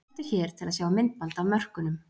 Smelltu hér til að sjá myndband af mörkunum